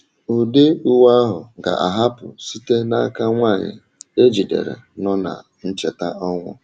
Ụdị uwe ahụ ga-ahapụ site um n’aka nwanyị e jidere um nọ na ncheta ọnwụ.